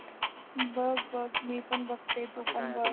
बघ बघ मी पण बघते तू पण बघ